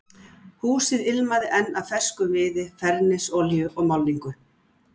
Húsið ilmaði enn af ferskum viði, fernisolíu og málningu.